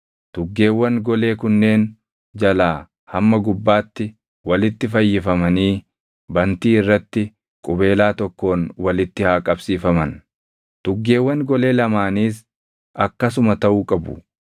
Tuggeewwan golee kunneen jalaa hamma gubbaatti walitti fayyifamanii bantii irratti qubeelaa tokkoon walitti haa qabsiifaman; tuggeewwan golee lamaaniis akkasuma taʼuu qabu.